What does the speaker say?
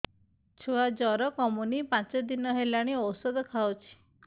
ଛୁଆ ଜର କମୁନି ପାଞ୍ଚ ଦିନ ହେଲାଣି ଔଷଧ ଖାଉଛି